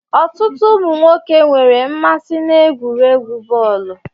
Ọtụtụ ụmụ nwoke nwere mmasị n'egwuregwu bọọlu.